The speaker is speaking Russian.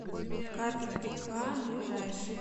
карпов и к ближайший